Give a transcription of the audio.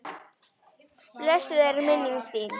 Blessuð er minning þín.